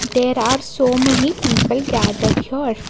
There are so many people gathered here.